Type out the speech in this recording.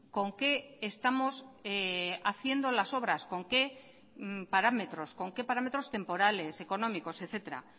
con qué estamos haciendo las obras con qué parámetros con qué parámetros temporales económicos etcétera